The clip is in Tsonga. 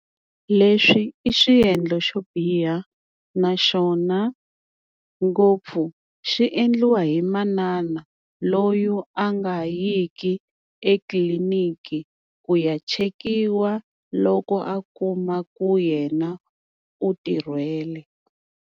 Leswi i swiendlo xo biha. Naxona ngopfu xi endliwa hi manana loyi a nga yiki etliliniki ku ya chekiwa loko a kuma ku yena u tirhwele.